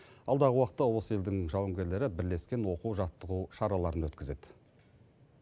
алдағы уақытта осы елдің жауынгерлері бірлескен оқу жаттығу шараларын өткізеді